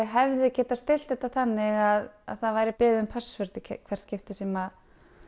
hefði getað stillt þetta þannig að það væri beðið um password í hvert skipti sem